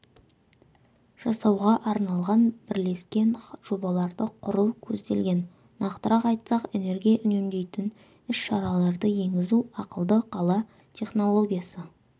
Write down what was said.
жасауға арналған бірлескен жобаларды құру көзделген нақтырақ айтсақ энергия үнемдейтін іс-шараларды енгізу ақылды қала технологиясы